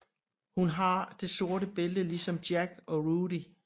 Hun har det sorte bælte ligesom Jack og Rudy